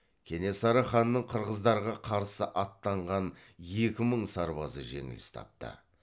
кенесары ханның қырғыздарға қарсы аттанған екі мың сарбазы жеңіліс тапты